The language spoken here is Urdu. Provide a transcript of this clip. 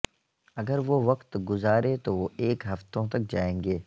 اگر وہ وقت گزارے تو وہ ایک ہفتوں تک جائیں گے